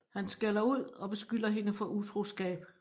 Han skælder ud og beskylder hende for utroskab